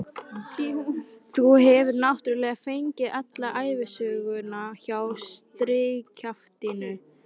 Þú hefur náttúrlega fengið alla ævisöguna hjá strigakjaftinum?